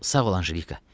Sağ ol Anjelika.